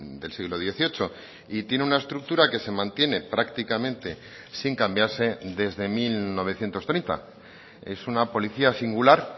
del siglo dieciocho y tiene una estructura que se mantiene prácticamente sin cambiarse desde mil novecientos treinta es una policía singular